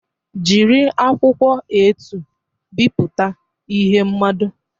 Jiri akwụkwọ A2 bipụta ihe mmado.